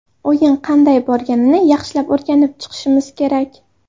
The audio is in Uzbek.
O‘yin qanday borganini yaxshilab o‘rganib chiqishimiz kerak.